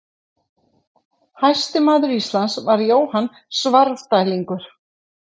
Hæsti maður Íslands var Jóhann Svarfdælingur.